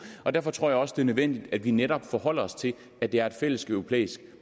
og derfor tror jeg også det er nødvendigt at vi netop forholder os til at det er en fælleseuropæisk